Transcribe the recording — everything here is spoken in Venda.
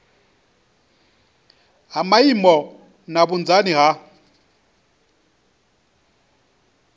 ha maimo na vhunzani ha